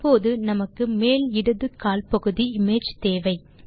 இப்போது நமக்கு மேல் இடது கால் பகுதி இமேஜ் தேவை